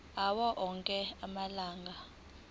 awo onke amalunga